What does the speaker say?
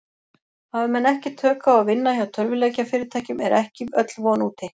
Hafi menn ekki tök á að vinna hjá tölvuleikjafyrirtækjum er ekki öll von úti.